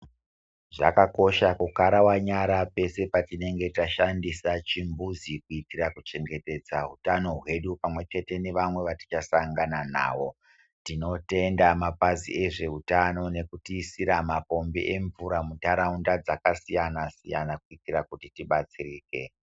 Zvakakosha kukarawanyara pese patinenge tashandisa chimbuzi kuitira kuchengetedza utano hwedu pamwechete newamwe watichasangana nawo tinotenda mapzi ezveutano nekutiisira mapombi emvura munharaunda dzakasiyanasiyana kuitira kuti tibatsirike.